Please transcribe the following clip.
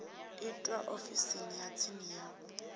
itwa ofisini ya tsini ya